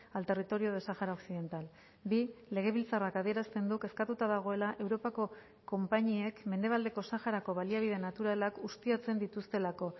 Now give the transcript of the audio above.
al territorio de sahara occidental bi legebiltzarrak adierazten du kezkatuta dagoela europako konpainiek mendebaldeko saharako baliabide naturalak ustiatzen dituztelako